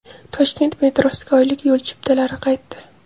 Toshkent metrosiga oylik yo‘l chiptalari qaytdi .